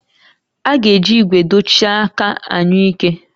A ga-eji ígwè dochie aka anyụike